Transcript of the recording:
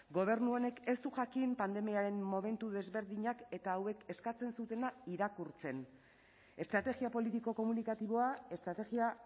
gobernu honek ez du jakin pandemiaren momentu desberdinak eta hauek eskatzen zutena irakurtzen estrategia politiko komunikatiboa estrategia